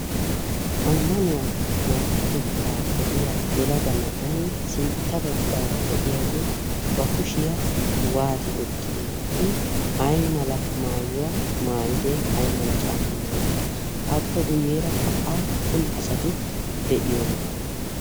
ammanuwaa markkatettaa odiya yelagana ay sintta baggaara de'iyaagee ba kushiyaa waati ottidee i ay mala maayuwaa maayidee ay mala caammaa wottide appe guyyeerakka appun asati de'iyoona?